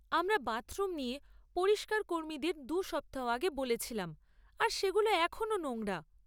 আমরা বাথরুম নিয়ে পরিষ্কারকর্মীদের দু সপ্তাহ আগে বলেছিলাম আর সেগুলো এখনো নোংরা।